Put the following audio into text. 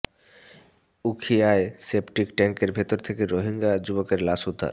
উখিয়ায় septic ট্যাংকের ভেতর থেকে রোহিঙ্গা যুবকের লাশ উদ্ধার